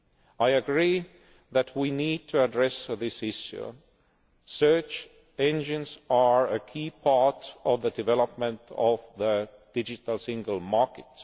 I agree that we need to address this issue search engines are a key part of the development of the Digital Single Market.